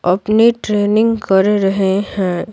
अपनी ट्रेनिंग कर रहे हैं।